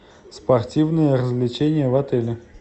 спортивные развлечения в отеле